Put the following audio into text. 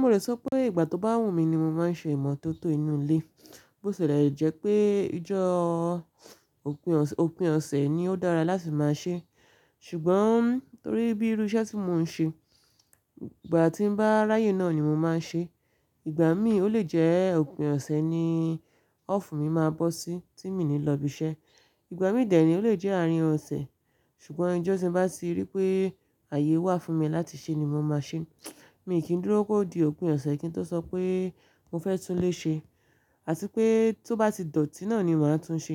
Mo lè sọ pé ìgbà tó bá wù mí ni mo máa ń ṣe ìmọ́tótó inú ilé. Bó sẹ̀lé, o jẹ́ pé ijọ́ òpin ọ̀sẹ̀ ni ó dára láti máa ṣe. Ṣùgbọ́n torí bí irú iṣẹ́ tí mò ń ṣe, ìgbà tí bá ráyè náà ni mo máa ń ṣe. Ìgbà mí ò le jẹ́ òpin ọ̀sẹ̀ ni ọ́ọ̀fù mí máa bọ́ sí tí mi ní lọ ibi iṣẹ́. Ìgbà mí dẹ̀ ní ó le jẹ́ àárín ọ̀sẹ̀. Ṣùgbọ́n ijọ́ tí bá ti rí pé ààyè wà fún mi láti ṣe ni mo máa ṣe. Mi kì í dúró kó di òpin ọ̀sẹ̀ kí n tó sọ pé mo fẹ́ tún lé ṣe. Àti pé tó bá ti dọ̀tí náà ni màá tún ṣe.